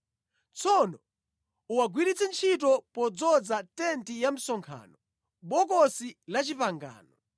Tsono uwagwiritse ntchito podzoza tenti ya msonkhano, Bokosi la Chipangano,